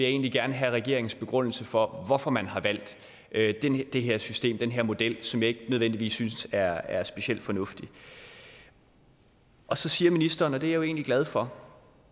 egentlig gerne have regeringens begrundelse for altså hvorfor man har valgt det her system den her model som jeg ikke nødvendigvis synes er er specielt fornuftig så siger ministeren og det er jeg jo egentlig glad for